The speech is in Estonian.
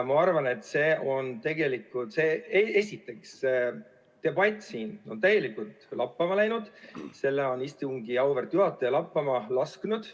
Ma arvan tegelikult, et esiteks on see debatt siin täielikult lappama läinud, selle on istungi auväärt juhataja lappama lasknud.